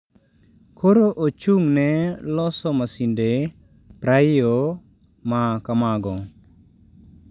Koro ochung’ne loso masinde praiyo ma kamago.